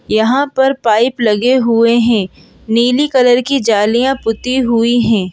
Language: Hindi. यहां पर पाइप लगे हुए हैं नीली कलर की जालियां पुती हुई हैं।